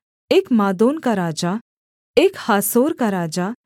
एक मादोन का राजा एक हासोर का राजा